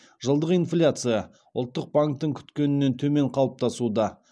жылдық инфляция ұлттық банктің күткенінен төмен қалыптасуда